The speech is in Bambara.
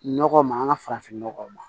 Nɔgɔ ma an ka farafinnɔgɔw ma